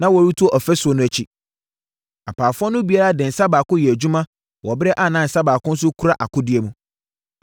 na wɔreto ɔfasuo no akyi. Apaafoɔ no biara de nsa baako yɛɛ adwuma wɔ ɛberɛ a nsa baako nso kura akodeɛ mu.